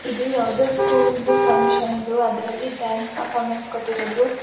ಇದು ಯಾವುದೋ ಸ್ಕೂಲ್ದು ಫ್ಯಾಂಗ್ಷನ್ ದು ಅದ್ರಲ್ಲಿ ಡಾನ್ಸ್ ಪರ್ಫಾರ್ಮೆನ್ಸ್ ಕೋಟಿರದು.